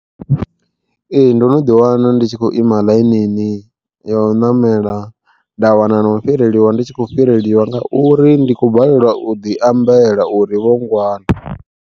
Ee ndo no ḓi wana ndi tshi khou ima ḽainini, ya u ṋamela nda wana no u fhireliwa ndi tshi kho fhirelwa nga uri ndi khou balelwa u ḓi ambela uri vho ngwana.